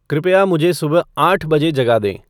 कृपया मुझे सुबह आठ बजे जगा दें